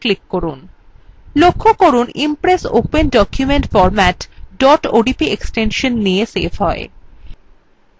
লক্ষ্য করুন impress open document format odp extension নিয়ে সেভ হয়